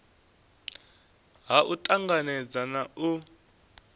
ha u tanganedza na u